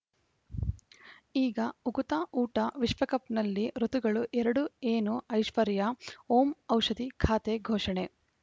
ಈಗ ಉಕುತ ಊಟ ವಿಶ್ವಕಪ್‌ನಲ್ಲಿ ಋತುಗಳು ಎರಡು ಏನು ಐಶ್ವರ್ಯಾ ಓಂ ಔಷಧಿ ಖಾತೆ ಘೋಷಣೆ